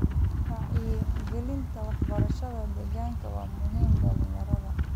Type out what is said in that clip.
Wacyigelinta waxbarashada deegaanka waa muhiim dhalinyarada.